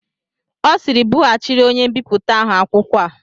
Ọ sịịrị, bughachịrị onye mbipụta ahụ akwụkwọ a!